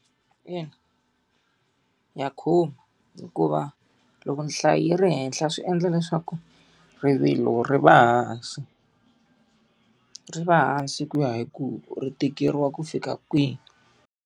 Ina, ya khumba hikuva loko nhlayo ri henhla swi endla leswaku rivilo ri va hansi. Ri va hansi ku ya hi ku ri tikeriwa ku fika kwihi.